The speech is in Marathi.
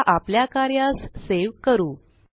आता आपल्या कार्यास सेव करू